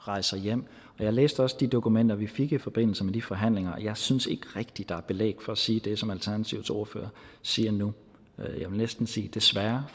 rejser hjem jeg læste også de dokumenter vi fik i forbindelse med de forhandlinger jeg synes ikke rigtig der er belæg for at sige det som alternativets ordfører siger nu jeg vil næsten sige desværre